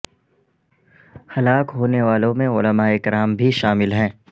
ہلاک ہونے والوں میں علماء کرام بھی شامل ہیں